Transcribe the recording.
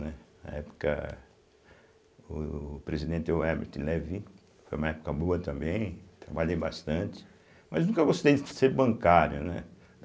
Né, na época, o presidente Herbert Levy, foi uma época boa também, trabalhei bastante, mas nunca gostei de ser bancário, né?